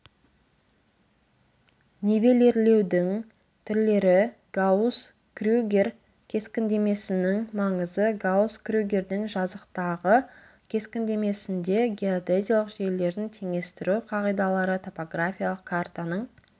нивелирлеудің түрлері гаусс крюгер кескіндемесінің маңызы гаусс крюгердің жазықтағы кескіндемесінде геодезиялық желілердің теңестіру қағидалары топографиялық картаның